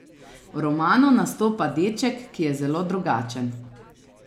V romanu nastopa deček, ki je zelo drugačen.